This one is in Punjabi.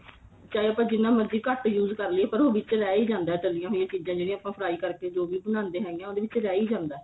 ਚਾਹੇ ਆਪਾਂ ਜਿੰਨਾ ਮਰਜੀ ਘੱਟ use ਕਰ ਲਈਏ ਪਰ ਉਹ ਵਿੱਚ ਰਹਿ ਹੀ ਜਾਂਦਾ ਤਾਲਿਆਂ ਹੋਈਆਂ ਚੀਜਾਂ ਜਿਹੜੀਆਂ ਆਪਾਂ fry ਕਰਕੇ ਜੋ ਵੀ ਬਣਾਂਦੇ ਹੈਗੇ ਆ ਉਹਦੇ ਵਿੱਚ ਰੇਹੀ ਜਾਂਦਾ